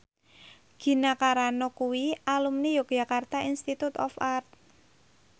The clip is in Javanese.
Gina Carano kuwi alumni Yogyakarta Institute of Art